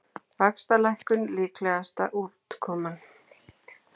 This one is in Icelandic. Vaxtalækkun líklegasta útkoman